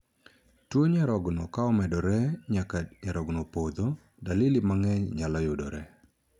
Tuo nyarogno ka omedore nyaka nyarogno opodho, dalili mangeny nyalo yudore.